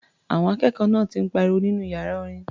Àwọn akẹ́kọ̀ọ́ náà ti ń pariwo nínú iyàra orin.